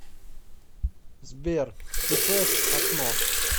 сбер ти фэст окно